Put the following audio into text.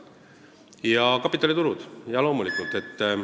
Ja kapitaliturud, loomulikult!